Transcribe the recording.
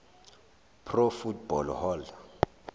pro football hall